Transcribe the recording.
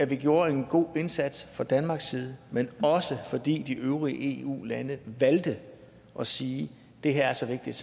vi gjorde en god indsats fra danmarks side men også fordi de øvrige eu lande valgte at sige det her er så vigtigt